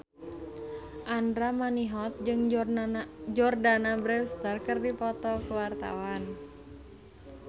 Andra Manihot jeung Jordana Brewster keur dipoto ku wartawan